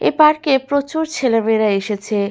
এ park -এ প্রচুর ছেলে মেয়েরা এসেছে।